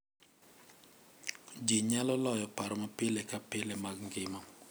ji nyalo loyo paro ma pile ka pile mag ngima